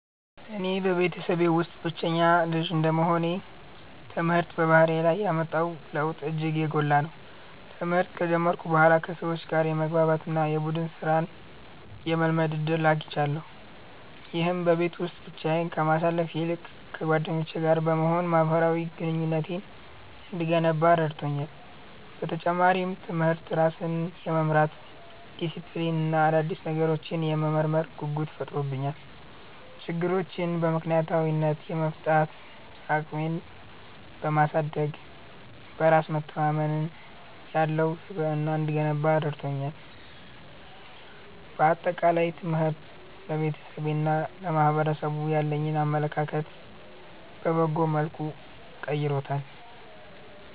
እኔ በቤተሰቤ ውስጥ ብቸኛ ልጅ እንደመሆኔ፣ ትምህርት በባህሪዬ ላይ ያመጣው ለውጥ እጅግ የጎላ ነው። ትምህርት ከጀመርኩ በኋላ ከሰዎች ጋር የመግባባት እና የቡድን ሥራን የመለማመድ ዕድል አግኝቻለሁ። ይህም በቤት ውስጥ ብቻዬን ከማሳልፍ ይልቅ ከጓደኞቼ ጋር በመሆን ማኅበራዊ ግንኙነቴን እንድገነባ ረድቶኛል። በተጨማሪም፣ ትምህርት ራስን የመምራት ዲሲፕሊን እና አዳዲስ ነገሮችን የመመርመር ጉጉት ፈጥሮብኛል። ችግሮችን በምክንያታዊነት የመፍታት አቅሜን በማሳደግ፣ በራስ መተማመን ያለው ስብዕና እንድገነባ ረድቶኛል። በአጠቃላይ፣ ትምህርት ለቤተሰቤና ለማኅበረሰቡ ያለኝን አመለካከት በበጎ መልኩ ቀይሮታል።